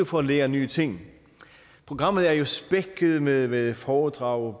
for at lære nye ting programmet er jo spækket med foredrag